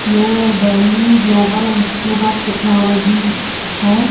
ये Delhi global institute of technology है।